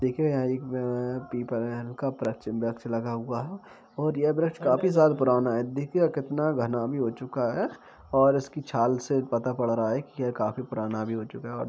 देखिये यहाँ एक क यहाँ पीपल का वृक्ष ल-लगा हुआ है और यह वृक्ष काफी साल पुराना है देखिएगा कितना घना भी हो चूका है और इसकी छाल से पता पड़ रहा है कि ये काफी पुराना हो चूका है।